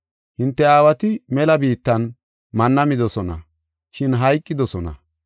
Hinte aawati mela biittan manna midosona, shin hayqidosona.